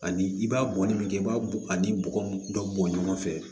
Ani i b'a bɔnni min kɛ i b'a a ni bɔgɔ dɔ bɔn ɲɔgɔn fɛ